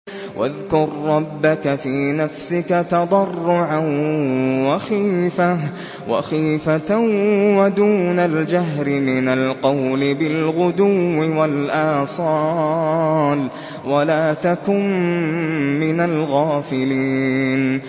وَاذْكُر رَّبَّكَ فِي نَفْسِكَ تَضَرُّعًا وَخِيفَةً وَدُونَ الْجَهْرِ مِنَ الْقَوْلِ بِالْغُدُوِّ وَالْآصَالِ وَلَا تَكُن مِّنَ الْغَافِلِينَ